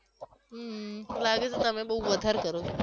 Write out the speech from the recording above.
હમ લાગે છે તમે બવ વધારે કરી છે